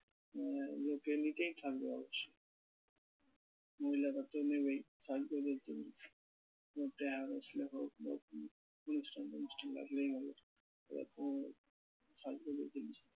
আহ লোকে নিতেই থাকবে অবশ্য। মহিলারা তো নেবেই সাজগোজের জন্য অনুষ্ঠান টনুষ্ঠান লাগলেই হল, ওরা তো সাজগোজের জিনিস